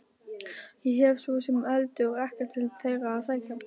Ég hef svo sem heldur ekkert til þeirra að sækja.